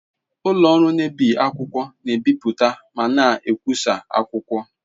Ụlọ ọrụ na-ebi akwụkwọ na-ebipụta ma na-ekwụsa akwụkwọ.